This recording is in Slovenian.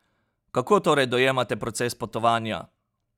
Kako torej dojemate proces potovanja?